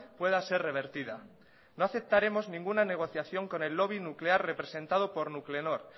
pueda ser revertida no aceptaremos ninguna negociación con el lobby nuclear representado por nuclenor